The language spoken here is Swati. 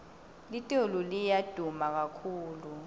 litulu liya duma kakhulu